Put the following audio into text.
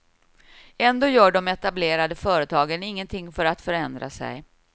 Ändå gör de etablerade företagen ingenting för att förändra sig.